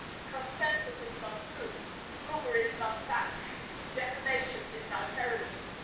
Consensus is not truth. Rumour is not fact. Defamation is not heroism.